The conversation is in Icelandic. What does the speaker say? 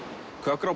kött grá